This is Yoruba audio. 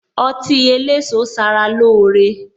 Ọtí eléso sara lóore